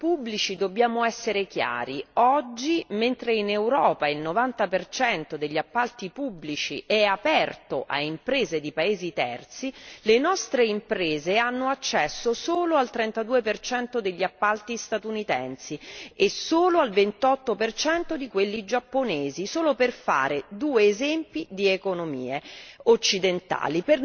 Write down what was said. Se parliamo di appalti pubblici, dobbiamo essere chiari oggi, mentre in Europa il novanta percento degli appalti pubblici è aperto a imprese di paesi terzi, le nostre imprese hanno accesso solo al trentadue percento degli appalti statunitensi e solo al ventotto percento di quelli giapponesi, solo per fare due esempi di economie